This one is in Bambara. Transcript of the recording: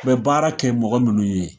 U bɛ baara kɛ mɔgɔ minnu ye